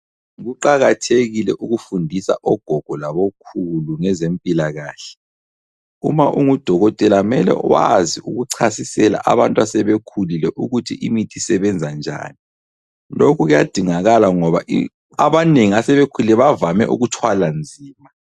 Kuqakathekile ukufundisa ogogo labokhulu ngezempilakahle. Uma ungudokotela mele wazi ukuchasisela abantu asebekhulile ukuthi imithi isebenza njani. Lokhu kuyadingakala ngoba abanengi asebekhulile bavame ukuthwala nzima.